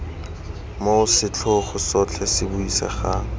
moo setlhogo sotlhe se buisegang